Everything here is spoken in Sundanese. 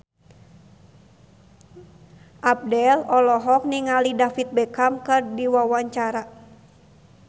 Abdel olohok ningali David Beckham keur diwawancara